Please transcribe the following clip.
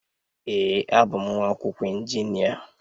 Ee, abụ m nwa akwụkwọ injinia.